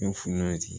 N ye funu ye